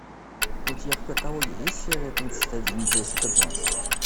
у тебя в каталоге есть серия тридцать один джессика джонс